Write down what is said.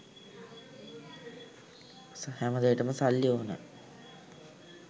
හැම දේටම සල්ලි ඕන.